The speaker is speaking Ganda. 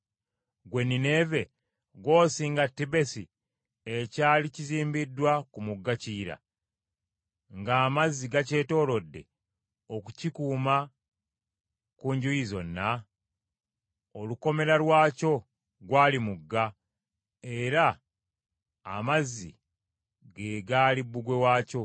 Ggwe Nineeve ggw’osinga Tebesi ekyali kizimbiddwa ku mugga Kiyira ng’amazzi gakyetoolodde okukikuuma ku njuyi zonna? Olukomera lwakyo gwali mugga era amazzi ge gaali bbugwe waakyo.